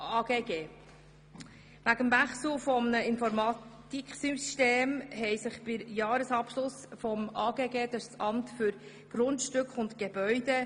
Wegen des Wechsels des Informatiksystems haben sich beim Jahresabschluss des AGG Probleme ergeben.